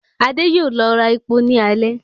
Adé yóò lọ ra epo náà ní alẹ́